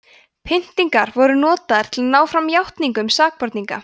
pyntingar voru notaðar til að ná fram játningum sakborninga